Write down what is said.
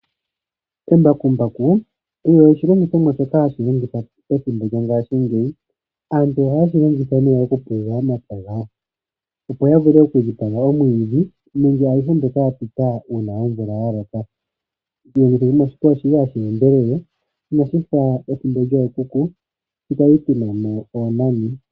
Embakumbaku olyo oshilongithomwa shoka hashi longithwa pethimbo lyongaashingeyi. Aantu ohaye lyi longitha nee oku pulula omapya gawo opo ya vule oku teta omwiidhi nenge ayihe mbyoka ya pita uuna omvula ya loka . Mowili yimwe shika oshi li hashi endelele inashifa ethimbo lyookuku sho kwali tuna mo oonani.